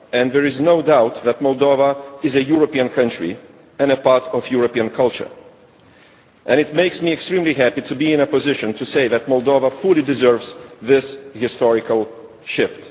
There is no doubt that Moldova is a European country and a part of European culture. It makes me extremely happy to be in a position to say that Moldova fully deserves this historic shift.